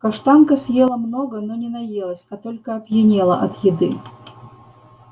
каштанка съела много но не наелась а только опьянела от еды